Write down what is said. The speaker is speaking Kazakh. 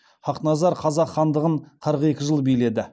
хақназар қазақ хандығын қырық екі жыл биледі